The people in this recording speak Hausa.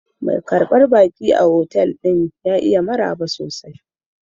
Mai karbar baki a otal ɗin ya iya maraba sosai.